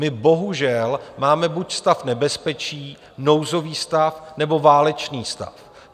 My bohužel máme buď stav nebezpečí, nouzový stav, nebo válečný stav.